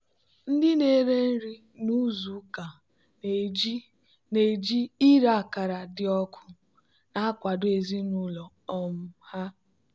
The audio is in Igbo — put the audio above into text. ndị na-ere nri n'izu ụka na-eji na-eji ire akara dị ọkụ na-akwado ezinụlọ um ha.